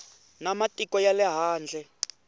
na matiko ya le handle